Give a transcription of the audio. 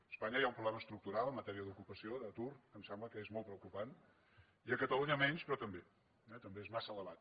a espanya hi ha un problema estructural en matèria d’ocupació d’atur que em sembla que és molt preocupant i a catalunya menys però també també és massa elevat